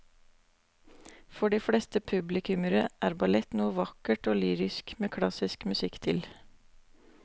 For de fleste publikummere er ballett noe vakkert og lyrisk med klassisk musikk til.